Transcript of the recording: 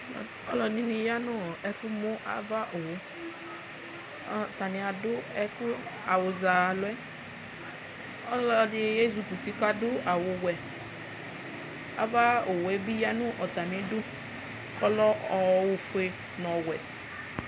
Alʋɛdini yanʋ efʋmʋ ava ayʋ owʋ atani adʋ awʋ zɛ alʋɛ ɔlɔdi ezi kɔ uti kʋ adʋ awʋwɛ ava owʋe bi yanʋ atami idʋ kʋ ɔlɛ ofue nʋ ɔwɛ